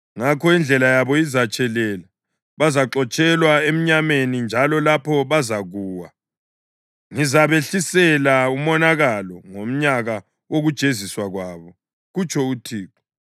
“Ngakho indlela yabo izatshelela; bazaxotshelwa emnyameni njalo lapho bazakuwa. Ngizabehlisela umonakalo ngomnyaka wokujeziswa kwabo,” kutsho uThixo.